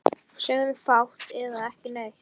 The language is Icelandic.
Sögðum fátt eða ekki neitt.